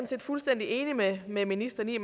set fuldstændig enig med med ministeren i